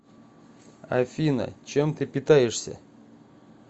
афина чем ты питаешься